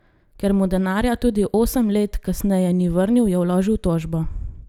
Ker mu denarja tudi osem let kasneje ni vrnil, je vložil tožbo.